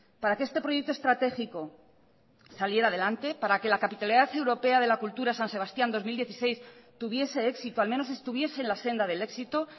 para que este proyecto estratégico saliera adelante para que la capitalidad europea de la cultura san sebastián dos mil dieciséis tuviese éxito al menos estuviese en la senda del éxito